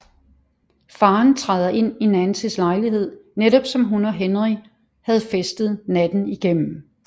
Faren træder ind i Nancys lejlighed netop som hun og Henry havde festet natten igennem